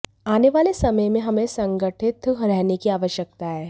आनेवाले समय में हमें संगठित रहने की आवश्यकता है